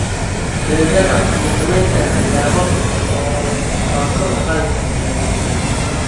Benzema ma samayn karaa yaabab oo ma kor u qaadi karaa Real?